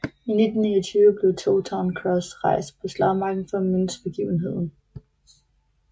I 1929 blev Towton Cross rejst på slagmarken for at mindes begivenheden